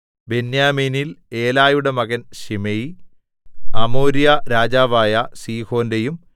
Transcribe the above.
ബെന്യാമീനിൽ ഏലയുടെ മകൻ ശിമെയി അമോര്യ രാജാവായ സീഹോന്റെയും